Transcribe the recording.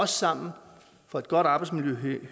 sammen for et godt arbejdsmiljø